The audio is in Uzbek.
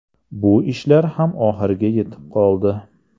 Bu ishlar ham oxiriga yetib qoldi.